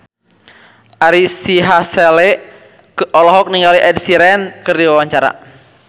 Ari Sihasale olohok ningali Ed Sheeran keur diwawancara